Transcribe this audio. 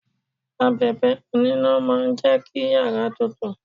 Abẹ̀bẹ̀ oníná máa jẹ kí yàrá tutù.